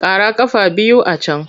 Ƙara ƙafa biyu a can!